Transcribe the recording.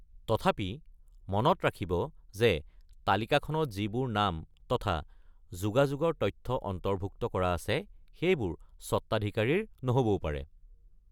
তথাপি, মনত ৰাখিব যে তালিকাখনত যিবোৰ নাম তথা যোগাযোগৰ তথ্য অন্তৰ্ভুক্ত কৰা আছে সেইবোৰ স্বত্বাধিকাৰীৰ নহবও পাৰে।